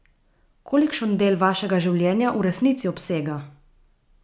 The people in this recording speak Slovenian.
Kolikšen del vašega življenja v resnici obsega?